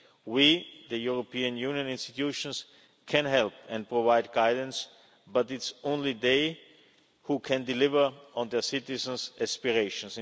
We, the European Union institutions, can help and provide guidance, but it's only they who can deliver on their citizens' aspirations.